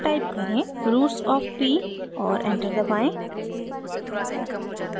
roots of p और enter दबाएं